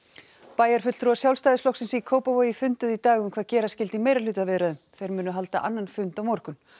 bæjarfulltrúar Sjálfstæðisflokksins í Kópavogi funduðu í dag um hvað gera skyldi í meirihlutaviðræðum þeir munu halda annan fund á morgun